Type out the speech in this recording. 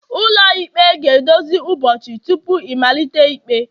ụlọikpe ga-edozi ụbọchị tupu ịmalite ikpe